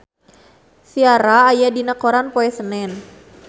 Ciara aya dina koran poe Senen